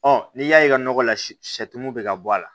n'i y'a ye ka nɔgɔ la sɛmu bɛ ka bɔ a la